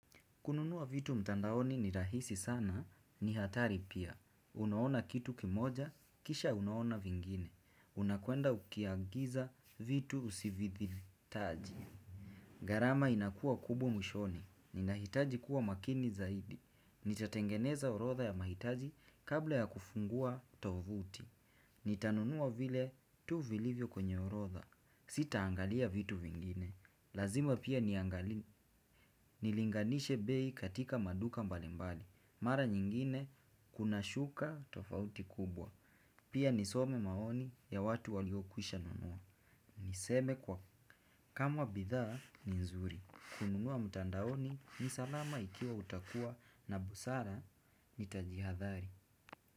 Kununua vitu mtandaoni ni rahisi sana, ni hatari pia. Unaona kitu kimoja, kisha unaona vingine. Unakwenda ukiagiza vitu usivi hitaji. Gharama inakua kubwa mwishoni. Ninahitaji kuwa makini zaidi. Nitatengeneza horodha ya mahitaji kabla ya kufungua tovuti. Nitanunuwa vile tu vilivyo kwenye horodha. Sita angalia vitu vingine. Lazima pia niangali, nilinganishe bei katika maduka mbalimbali. Mara nyingine kuna shuka tofauti kubwa. Pia nisome maoni ya watu waliokwisha nunua. Niseme kwa kama bidhaa ni nzuri. Kununua mtandaoni ni salama ikiwa utakua na busara ni tajihadhari.